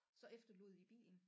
Så efterlod I bilen